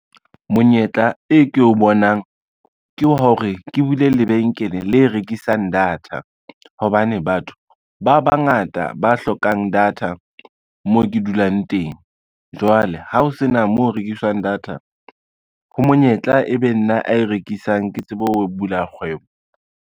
Monyetla e ke o bonang, ke hore ke bule lebenkele le rekisang data hobane batho ba bangata ba hlokang data mo ke dulang teng. Jwale ha ho sena moo ho rekiswang data, ho monyetla e be nna a e rekisang. Ke tsebe ho bula kgwebo.